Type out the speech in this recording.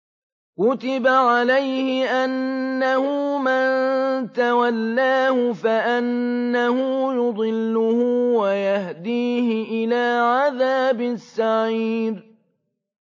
كُتِبَ عَلَيْهِ أَنَّهُ مَن تَوَلَّاهُ فَأَنَّهُ يُضِلُّهُ وَيَهْدِيهِ إِلَىٰ عَذَابِ السَّعِيرِ